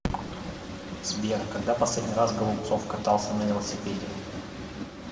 сбер когда последний раз голубцов катался на велосипеде